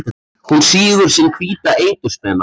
Hún sýgur sinn hvíta eitur spena.